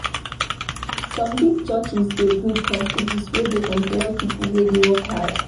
Some big churches dey build companies wey dey employ pipo wey dey find work.